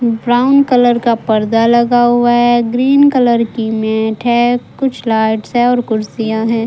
Brown colour का पर्दा लगा हुआ है ग्रीन कलर की मैट है कुछ लाइट हैं कुछ कुर्सियां हैं।